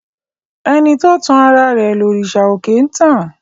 Ẹni tó tan ara rẹ̀ lòrìṣà òkè ń tàn.